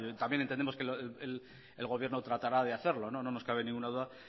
también entendemos que el gobierno tratará de hacerlo no nos cabe ninguna duda